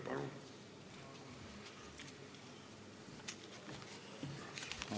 Palun!